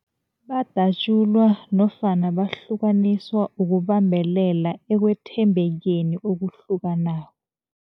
Badatjulwa nofana bahlukaniswa ukubambelela ekwethembekeni okuhlukanako.